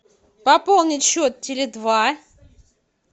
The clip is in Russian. пополнить счет теле два